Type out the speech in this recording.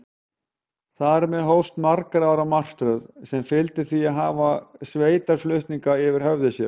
Þar með hófst margra ára martröð, sem fyldi því að hafa sveitarflutninga yfir höfði sér.